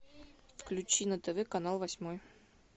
включи на тв канал восьмой